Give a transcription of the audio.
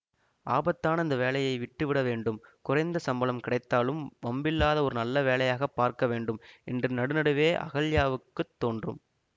ஆபத்தான இந்த வேலையை விட்டு விட வேண்டும் குறைந்த சம்பளம் கிடைத்தாலும் வம்பில்லாத ஒரு நல்ல வேலையாகப் பார்க்க வேண்டும் என்று நடுநடுவே அகல்யாவுக்குத் தோன்றும்